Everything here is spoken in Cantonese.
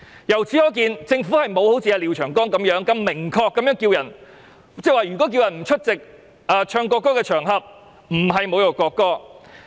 由此可見，政府並沒有像廖長江議員般，明確指出呼籲別人不出席唱國歌的場合並不等於侮辱國歌。